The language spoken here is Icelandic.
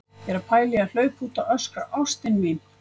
Ég er að pæla í að hlaupa út og öskra: ÁSTIN MÍN!